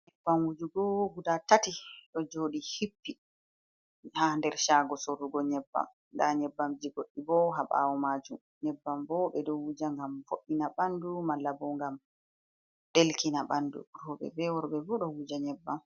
Nyebbam wujugo gudaa tati do jodi hippi ha nder chaago soorugo nyebbam, ndaa nyebbam ji goɗɗi boo hay ɓaawo maajum, nyebbam boo ɓe ɗo wuja ngam vo'ddina ɓanndu malla boo ngam ɗelkina ɓanndu roobe, bee worɓe bo ɗo wuja nyebbam.